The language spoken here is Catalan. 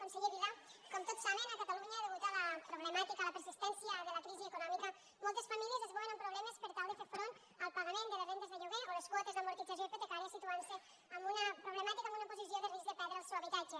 conseller vila com tots saben a catalunya a causa de la problemàtica de la persistència de la crisi econòmica moltes famílies es veuen amb problemes per tal de fer front al pagament de les rendes de lloguer o les quotes d’amortització hipotecàries situant se en una problemàtica en una posició de risc de perdre el seu habitatge